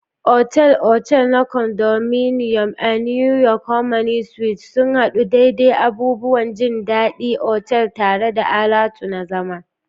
Otal-otal na Condominium: A New York, Harmony Suites sun haɗu daidai abubuwan jin daɗin otal tare da alatu na zama.